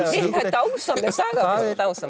dásamleg saga